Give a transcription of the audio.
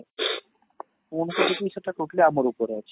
phone କରି କି ସେଇଟା totally ଆମର ଉପରେ ଅଛି